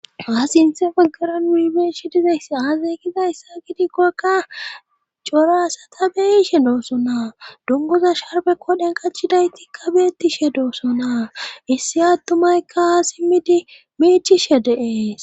haa sinthe paggaranu hibeechi dizayss aazeygida issa gidikkoykka corasa ta beyishe dooso naa dungoza sharbe kodhen qachidayti kabeettishe dooso naa issi attumaykka haa simmidi meechishe deees